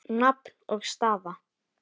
Nafn og staða?